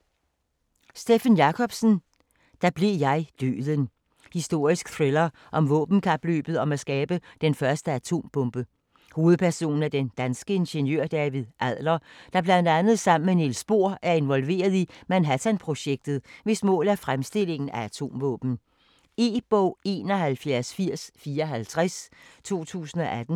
Jacobsen, Steffen: Da blev jeg Døden Historisk thriller om våbenkapløbet om at skabe den første atombombe. Hovedperson er den danske ingeniør David Adler, der bl.a. sammen med Niels Bohr er involveret i Manhattan-projektet, hvis mål er fremstillingen af atomvåben. E-bog 718054 2018.